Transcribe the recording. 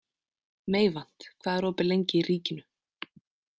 Meyvant, hvað er opið lengi í Ríkinu?